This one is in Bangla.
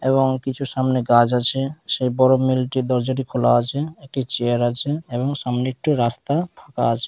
এবং কিছু সামনে গাছ আছে। সেই বড়ো মিলটি দরজাটি খোলা আছে। একটি চেয়ার আছে এবং সঙ্গে একটু রাস্তা ফাঁকা আছে।